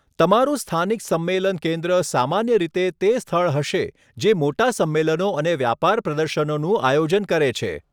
તમારું સ્થાનિક સંમેલન કેન્દ્ર સામાન્ય રીતે તે સ્થળ હશે જે મોટા સમ્મેલનો અને વ્યાપાર પ્રદર્શનોનું આયોજન કરે છે.